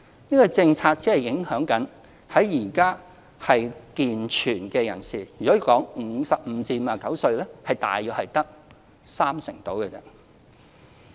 這個政策僅影響現時健全的人士，在55歲至59歲的組別中，大約只有三成左右。